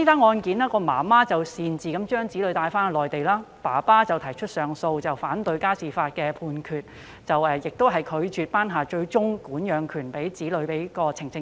案中母親擅自將子女帶往內地，父親提出上訴，反對家事法庭的判決，即法庭拒絕頒下最終管養令將子女管養權判給呈請人。